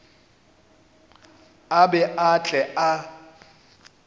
a be a tle a